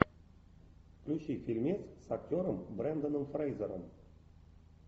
включи фильмец с актером бренданом фрейзером